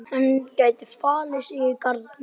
Hann gæti falið sig í garðinum.